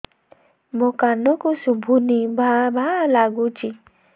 ମୋ କାନକୁ ଶୁଭୁନି ଭା ଭା ଲାଗୁଚି